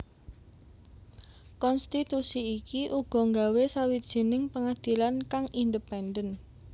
Konstitusi iki uga nggawe sawijining pengadilan kang independen